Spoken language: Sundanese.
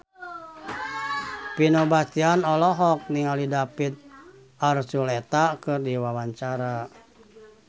Vino Bastian olohok ningali David Archuletta keur diwawancara